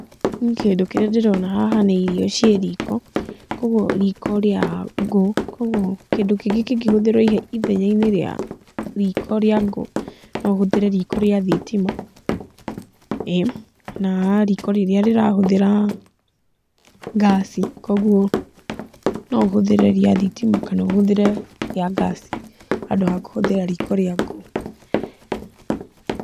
Niĩ kĩndũ kĩrĩa ndĩrona haha nĩ irio ciĩ riko, koguo riko rĩa ngũ. Koguo kĩndũ kĩngĩ kĩngĩhũthĩrwo ithenya-inĩ rĩa riko rĩa ngũ, no ũhũthĩre riko rĩa thitima, ĩĩ na riko rĩrĩa rĩrahũthĩra gas koguo no ũhũthĩre rĩa thitima kana ũhũthĩre rĩa gas handũ ha kũhũthĩra riko rĩa ngũ.